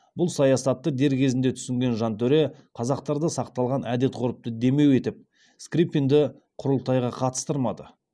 бұл саясатты дер кезінде түсінген жантөре қазақтарда сақталған әдет ғұрыпты демеу етіп скрыпинді құрылтайға қатыстырмады